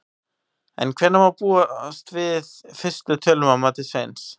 En hvenær má þá búast við fyrstu tölum að mati Sveins?